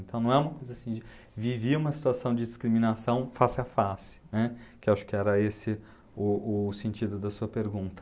Então não é uma coisa assim de vivi uma situação de discriminação face a face, né, que acho que era esse o o sentido da sua pergunta.